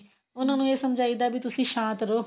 ਉਹਨਾ ਨੂੰ ਇਹ ਸਮਝਾਈਦਾ ਵੀ ਤੁਸੀਂ ਸ਼ਾਂਤ ਰਹੋ